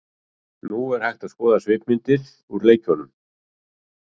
Nú er hægt að skoða svipmyndir úr leikjunum.